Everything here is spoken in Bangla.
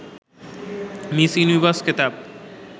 মিস ইউনিভার্স খেতাব